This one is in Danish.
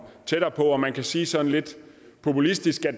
tættere på man kan sige sådan lidt populistisk at